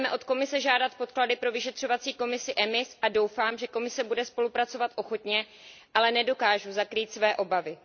Budeme od Komise žádat podklady pro vyšetřovací výbor EMIS a doufám, že Komise bude spolupracovat ochotně, ale nedokážu zakrýt své obavy.